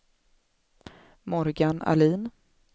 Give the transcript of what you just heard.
Morgan Ahlin